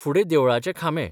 फुडें देवळाचे खांबे.